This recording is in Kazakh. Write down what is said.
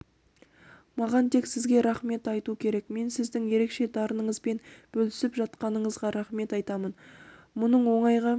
маған тек сізге рахмет айту керек мен сіздің ерекше дарыныңызбен бөлісіп жатқаныңызға рахмет айтамын мұның оңайға